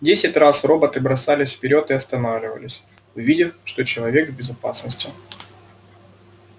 десять раз роботы бросались вперёд и останавливались увидев что человек в безопасности